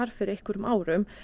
fyrir einhverjum árum